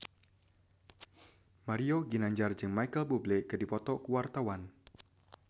Mario Ginanjar jeung Micheal Bubble keur dipoto ku wartawan